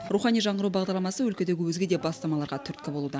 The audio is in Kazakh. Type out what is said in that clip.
рухани жаңғыру бағдарламасы өлкедегі өзге де бастамаларға түрткі болуда